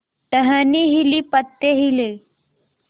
टहनी हिली पत्ते हिले